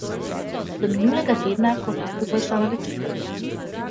Do minulega tedna, ko sta skupaj šla na večerjo.